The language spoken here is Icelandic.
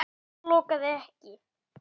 En það logaði ekki.